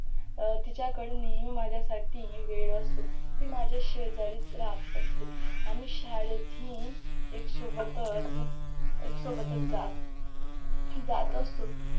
अं तिच्याकडं नेहमी माझ्यासाठी वेळ असतो ती माझ्या शेजारीच राहत असते आम्ही शाळेत ही एकसोबतच एकसोबतच जात जात असतो